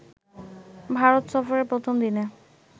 ভারত সফরের প্রথম দিনে